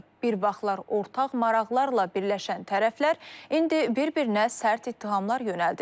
Bir vaxtlar ortaq maraqlarla birləşən tərəflər indi bir-birinə sərt ittihamlar yönəldir.